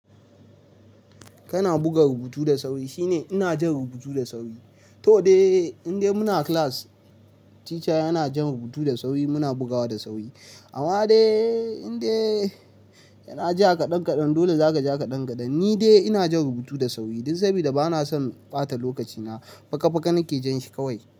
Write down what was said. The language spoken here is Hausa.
Kana buga rubutu da sauri shine ina jan rubutu da sauri. To dai, indai muna class, teacher yana jan rubutu da sauri muna bugawa da sauri. Amma dai indai yana ja kaɗan kaɗan, dole za ka ja kaɗan kaɗan. Ni dai ina jan rubutu da sauri don sabida bana son ɓata lokacina faka faka nake jan shi kawai.